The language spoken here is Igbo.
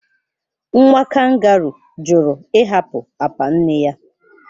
Nwa kangaroo (Joey) jụrụ ịhapụ apa nne ya.